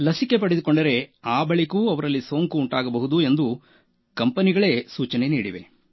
ಲಸಿಕೆ ಪಡೆದುಕೊಂಡ ಬಳಿಕವೂ ಸೋಂಕು ಉಂಟಾಗಬಹುದು ಎಂದು ಕಂಪೆನಿಗಳೇ ಸೂಚನೆ ನೀಡಿವೆ